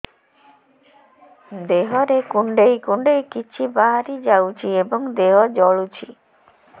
ଦେହରେ କୁଣ୍ଡେଇ କୁଣ୍ଡେଇ କିଛି ବାହାରି ଯାଉଛି ଏବଂ ଦେହ ଜଳୁଛି